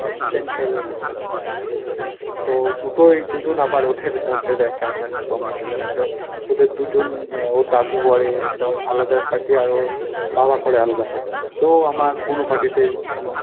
center এর লোক আছে। তো দুটোই দুজন আবার ওদের মধ্যে দেখ কেমন একটা combination আছে। ওদের দুইজন এর ওর দাদু করে ধর আলাদা party আর ওর বাবা করে আলাদা party তো আমার কোনো party তেই কোনো